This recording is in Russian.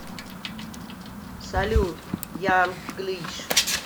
салют янг глиш